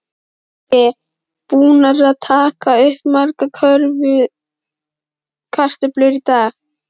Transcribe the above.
Breki: Búnar að taka upp margar kartöflur í dag?